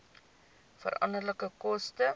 veranderlike koste